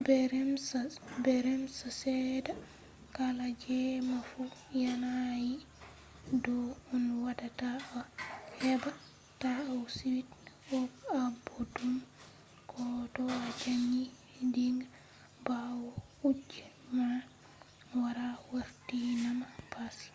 be rems seɗɗa kala jemma fu yanayi ɗo on waɗata a heɓa ta a suit aboɗɗum ko to a ɗani diga ɓawo kuje man wara wartinama baasi